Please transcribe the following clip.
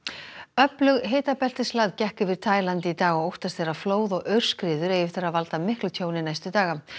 öflug gekk yfir Taíland í dag og óttast er að flóð og aurskriður eigi eftir að valda miklu tjóni næstu daga